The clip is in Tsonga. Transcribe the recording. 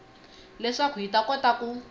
leswaku hi ta kota ku